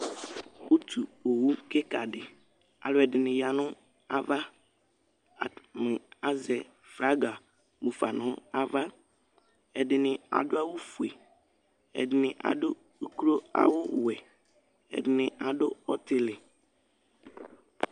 Ʋtu owu kikaɖiAlʋɛɖini aya nʋ ava atani azɛ flagi mufa n'ava Ɛɖini aɖʋ awu fue, ɛɖini aɖʋ oklo awuwuɛ, ɛɖini aɖʋ ɔtili